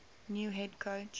new head coach